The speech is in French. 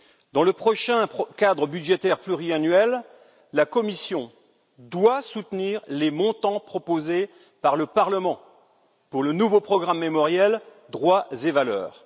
Dans le prochain cadre budgétaire pluriannuel, la Commission doit soutenir les montants proposés par le Parlement pour le nouveau programme mémoriel Droits et valeurs.